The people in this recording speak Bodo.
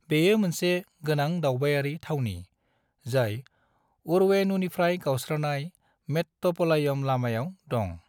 बेयो मोनसे गोनां दावबायारि थावनि, जाय अरवेणुनिफ्राय गावस्रानाय मेट्टुपलायम लामायाव दं।